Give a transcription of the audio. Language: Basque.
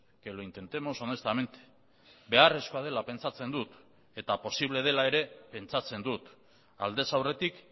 que lo intentemos honestamente beharrezkoa dela pentsatzen dut eta posible dela ere pentsatzen dut aldez aurretik